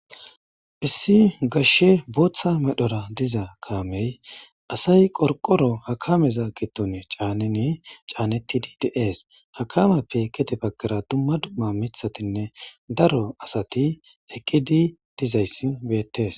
Issi gashshe booththa medhora diza kaamey asay qorqoro hakameza gitun caaneni caanetidi dees hakameppe kede baggara dumma dumma mithatinne daro asati eqqidi dizayssi beettes.